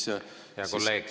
Hea kolleeg!